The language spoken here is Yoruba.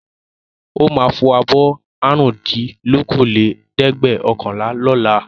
Ó máa fọ abọ́ àrùndínlókòólẹ́ẹ̀dẹ́gbẹ̀ọ̀kànlá lọ́la.